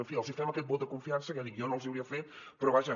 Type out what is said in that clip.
en fi els hi fem aquest vot de confiança que ja dic jo no els hi hauria fet però vaja